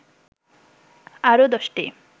আরো ১০টি